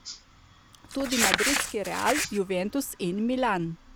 Tudi madridski Real, Juventus in Milan.